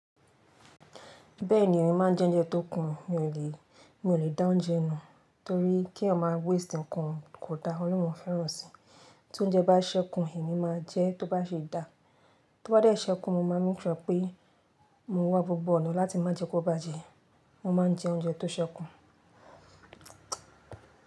Bẹ́ẹ̀ni èmi máa ń jẹ oúnjẹ tó kun, mi ò lè dá oúnjẹ nù torí kí eyan má waste nǹkan kò da, ọ̀lorun ọ fẹ́ràn sí. Tí oúnjẹ bá ṣẹ́kun èmi máa jẹ tó bá ṣe dá, tó bá dẹ́ ṣẹ́kun mo máa make sure pé mo wá gbogbo ọ̀nà láti má jẹ kí ó bàjẹ́. Mo máa ń jẹ oúnjẹ tó ṣẹ́kun.